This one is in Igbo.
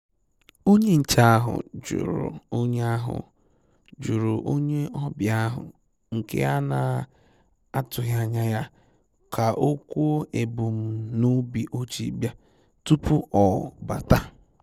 Onye nchè ahụ́ jụ̀rụ̀ onye ahụ́ jụ̀rụ̀ onye ọ́bị̀à ahụ́ nke a na-atụ́ghị́ ányá yá, kà ọ́ kwuò èbùm n'óbì o ji bị̀à, tupu ọ́ bàtá.